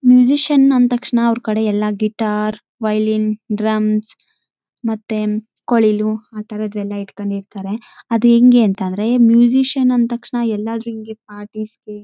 ನನಗೆ ಗಿಟರ್ ಅಂದ್ರೆ ಬಹಳ ಇಷ್ಟ ನಾನು ಅವಾಗ ಕಲಿಬೇಕು ಅಂತ ಬಹಳ ಇಷ್ಟ ಇತ್ತು ಈಗ ಕಲಿತಿದ್ದೇನೆ ನನ್ನ ಹತ್ತಿರಾನೂ ಒಂದು ಗಿಟಾರ್ ಇದೆ.